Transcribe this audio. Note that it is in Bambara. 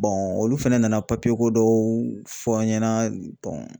olu fɛnɛ nana papiye ko dɔw fɔ an ɲɛna